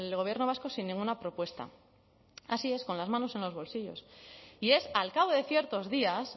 gobierno vasco sin ninguna propuesta así es con las manos en los bolsillos y es al cabo de ciertos días